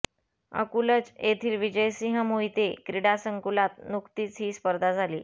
अकूलज येथील विजयसिंह मोहिते क्रीडा संकुलात नुकतीच ही स्पर्धा झाली